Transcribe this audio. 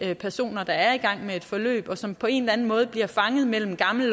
de personer der er i gang med et forløb og som på en eller anden måde bliver fanget mellem gammel